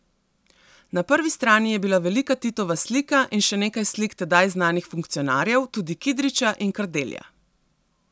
Na prvi strani je bila velika Titova slika in še nekaj slik tedaj znanih funkcionarjev, tudi Kidriča in Kardelja.